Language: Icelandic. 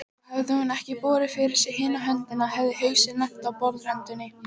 Og hefði hún ekki borið fyrir sig hina höndina hefði hausinn lent á borðröndinni.